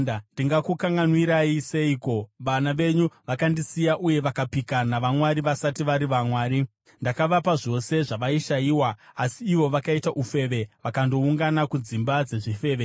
“Ndingakukanganwirai seiko? Vana venyu vakandisiya, uye vakapika navamwari vasati vari vamwari. Ndakavapa zvose zvavaishayiwa, asi ivo vakaita ufeve vakandoungana kudzimba dzezvifeve.